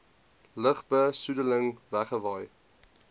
lugbe soedeling wegwaai